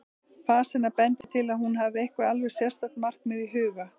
Fas hennar bendir til að hún hafi eitthvert alveg sérstakt markmið í huga.